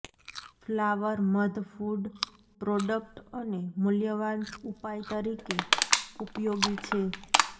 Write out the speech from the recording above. flower મધ food product અને મૂલ્યવાન ઉપાય તરીકે ઉપયોગી છે